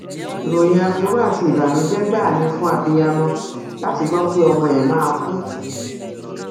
ìròyìn aburú àti ìbànújẹ gbáà ni fún abiyamọ láti gbọ pé ọmọ ẹ máa kú